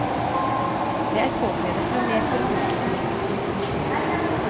Det er påkrevet med mer forbrukerrettet informasjon.